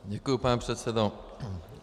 Děkuju, pane předsedo.